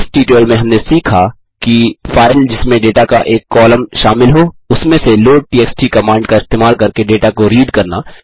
इस ट्यूटोरियल में हमने सीखा कि फाइल जिसमें डेटा का एक कॉलम शामिल हो उसमें से लोडटीएक्सटी कमांड का इस्तेमाल करके डेटा को रीड करना